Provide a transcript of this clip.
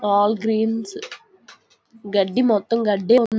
అల్ greens గడ్డి మొత్తం గడ్డి--